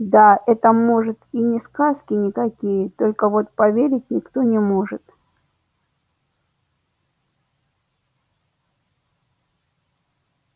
да это может и не сказки никакие только вот поверить никто не может